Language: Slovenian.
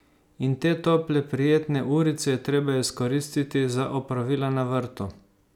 In te tople prijetne urice je treba izkoristiti za opravila na vrtu.